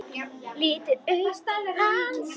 Lítur upp til hans.